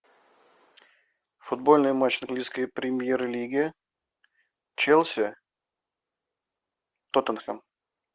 футбольный матч английской премьер лиги челси тоттенхэм